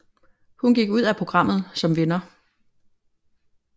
Hun gik ud af programmet som vinder